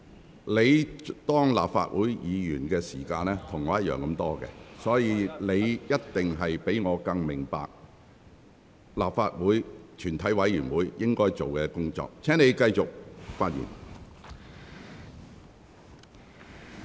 胡志偉議員，你擔任立法會議員的年資與我相同，所以你一定比我更明白立法會全體委員會應該做的工作。